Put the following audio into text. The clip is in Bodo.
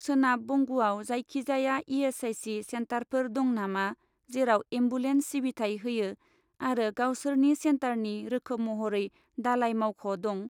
सोनाब बंगआव जायखिजाया इ.एस.आइ.सि. सेन्टारफोर दं नामा जेराव एम्बुलेन्स सिबिथाय होयो आरो गावसोरनि सेन्टारनि रोखोम महरै दालाइ मावख' दं?